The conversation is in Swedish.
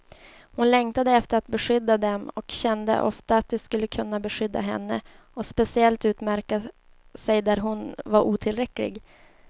Hon längtade efter att beskydda dem, och kände ofta att de skulle kunna beskydda henne och speciellt utmärka sig där hon var otillräcklig.